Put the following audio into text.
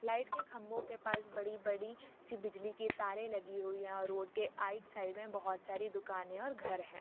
Light के खंभों के पास बड़ी - बड़ी सी बिजली की तारे लगी हुई है और रोड के आइट साइड में बहुत सारे दुकाने हैं और घर हैं।